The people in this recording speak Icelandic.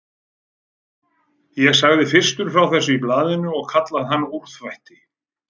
Ég sagði fyrstur frá þessu í blaðinu og kallaði hann úrþvætti.